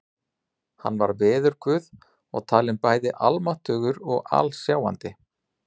Hann var veðurguð og talinn bæði almáttugur og alsjáandi.